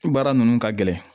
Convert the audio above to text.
Baara ninnu ka gɛlɛn